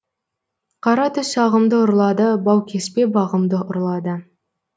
қара түс ағымды ұрлады баукеспе бағымды ұрлады